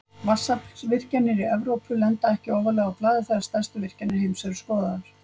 Vatnsaflsvirkjanir í Evrópu lenda ekki ofarlega á blaði þegar stærstu virkjanir heims eru skoðaðar.